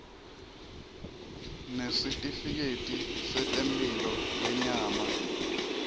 nesitifiketi setemphilo yenyama